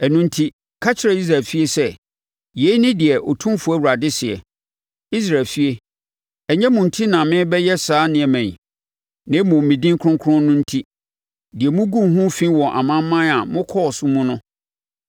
“Ɛno enti, ka kyerɛ Israel efie sɛ, ‘Yei ne deɛ Otumfoɔ Awurade seɛ: Israel efie, ɛnyɛ mo enti na merebɛyɛ saa nneɛma yi, na mmom me din kronkron no enti, deɛ moguu ho fi wɔ amanaman a mokɔɔ so mu no.